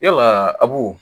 Yalaa abu